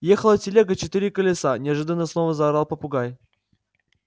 ехала телега четыре колеса неожиданно снова заорал попугай